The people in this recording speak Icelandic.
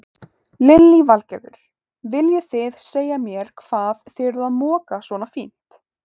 Lillý Valgerður: Viljið þið segja mér hvað þið eruð að moka svona fínt?